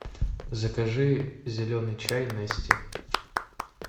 закажи зеленый чай нести